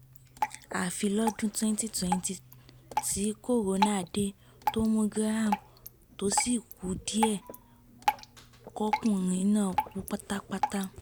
àfi lọ́dún tewnty twenty tí corona dé tó mú graham tó sì kù díẹ̀ kọkùnrin náà kú pátápátá